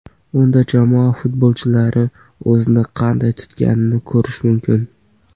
Unda jamoa futbolchilari o‘zini qanday tutganini ko‘rish mumkin.